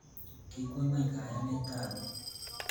Kikwo ngweny kayanetab bik